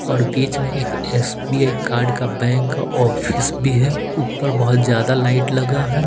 और बीच में एक एस_बी_आई कार्ड का बैंक ऑफिस भी है ऊपर बहुत ज्यादा लाइट लगा है।